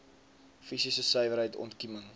fisiese suiwerheid ontkieming